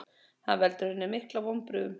Hann veldur henni miklum vonbrigðum.